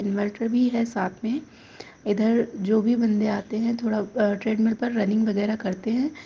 Inverter भी है साथ में इधर जो भी बन्दे आते हैं थोडा अ ट्रेड मिल पर रनिंग वगैरह करते हैं।